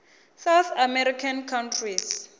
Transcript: south american countries